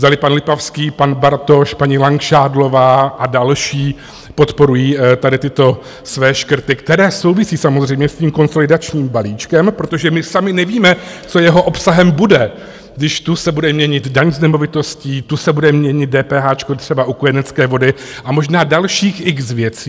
Zdali pan Lipavský, pan Bartoš, paní Langšádlová a další podporují tady tyto své škrty, které souvisí samozřejmě s tím konsolidačním balíčkem, protože my sami nevíme, co jeho obsahem bude, když tu se bude měnit daň z nemovitosti, tu se bude měnit dépéháčko třeba u kojenecké vody a možná dalších x věcí.